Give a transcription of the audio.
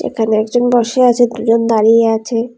এখানে একজন বসে আছে দুজন দাঁড়িয়ে আছে।